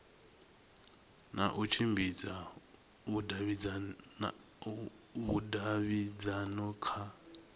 na u tshimbidza vhudavhidzano kha